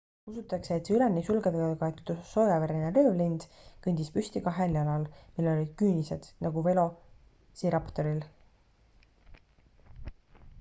usutakse et see üleni sulgedega kaetud soojavereline röövlind kõndis püsti kahel jalal millel olid küünised nagu velociraptoril